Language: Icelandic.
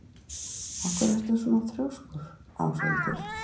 Af hverju ertu svona þrjóskur, Áshildur?